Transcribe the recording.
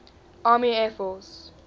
army air force